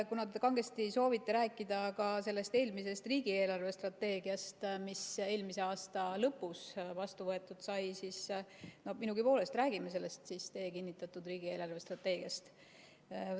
Kuna te kangesti soovite rääkida sellest eelmisest riigi eelarvestrateegiast, mis eelmise aasta lõpus vastu võetud sai, siis minugi poolest, räägime siis sellest teie kinnitatud riigi eelarvestrateegiast.